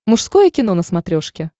мужское кино на смотрешке